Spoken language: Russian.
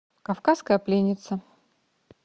кавказская пленница